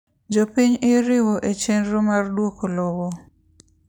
Jopiny iriwo echenro mar duoko lowo.